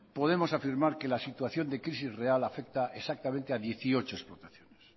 podemos afirmar que la situación de crisis real afecta exactamente a dieciocho explotaciones